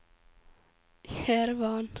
Jerevan